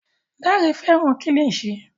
Dare fẹràn kilishi.